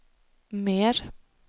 mer